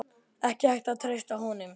Ekki hægt að treysta honum.